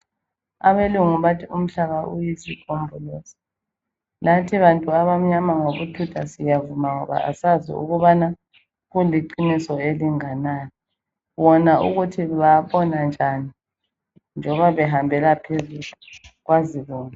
Abelungu bathi umhlaba uyisigombolozi lathi bantu abamnyama ngobuthutha siyavuma ngoba asazi ukubana kuliqiso elinganani. Bona ukuthi babona njani njoba behambela phezulu kwazibona